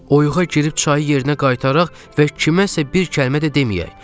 Oyuqa girib çayı yerinə qaytaraq və kiməsə bir kəlmə də deməyək.